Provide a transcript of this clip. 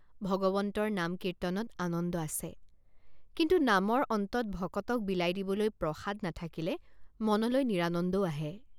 ভগৱন্তৰ নাম কীৰ্তনত আনন্দ আছে কিন্তু নামৰ অন্তত ভকতক বিলাই দিবলৈ প্ৰসাদ নাথাকিলে মনলৈ নিৰানন্দও আহে।